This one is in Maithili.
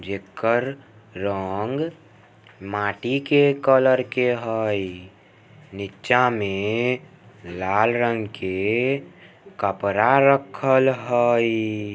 जेकर रंग माटी के कलर के हई निचा में लाल रंग के कपड़ा रखल हई।